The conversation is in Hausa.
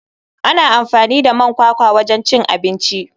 Ana amfani da man kwakwa wajen cin abinci.